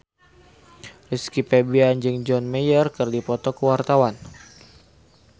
Rizky Febian jeung John Mayer keur dipoto ku wartawan